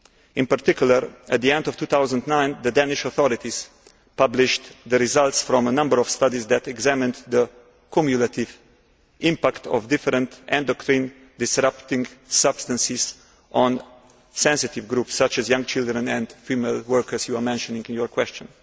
In particular, at the end of 2009, the Danish authorities published the results from a number of studies that examined the cumulative impact of different endocrine disrupting substances on sensitive groups such as young children and female workers, as you mentioned in your question.